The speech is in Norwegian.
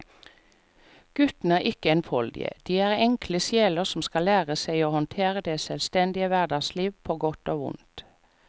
Guttene er ikke enfoldige, de er enkle sjeler som skal lære seg å håndtere det selvstendige hverdagslivet på godt og vondt.